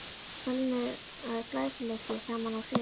Fölnaður glæsileiki, það má nú segja!